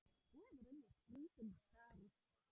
Þú hefur unnið skrítin störf?